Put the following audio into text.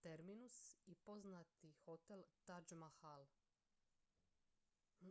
terminus i poznat hotel taj mahal